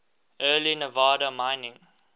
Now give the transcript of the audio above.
early nevada mining